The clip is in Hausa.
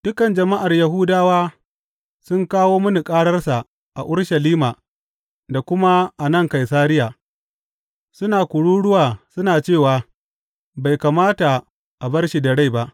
Dukan jama’ar Yahudawa sun kawo mini kararsa a Urushalima da kuma a nan Kaisariya, suna kururuwa suna cewa bai kamata a bar shi da rai ba.